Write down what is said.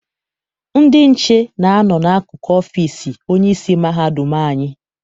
Ndị nche na-a nọ n'akụkụ ọfịịsi onyeisi mahadum anyị.